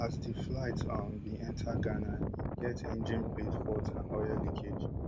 as di flight um bin enta ghana im get engine blade fault and oil leakage